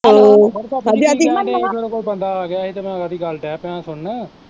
ਕੀ ਕਹਿਣ ਡਹਿ ਸੀ ਮੇਰੇ ਕੋਲ ਬੰਦਾ ਆਗਿਆ ਸੀ ਤੇ ਮੈਂ ਓਹਦੀ ਗੱਲ ਡਹਿ ਪਿਆ ਸੀ ਸੁਣਨ